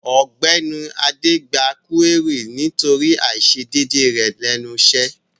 Ògbéni adé gba kúérì nítorí àisédédé rẹ̀ lẹ́nu isẹ́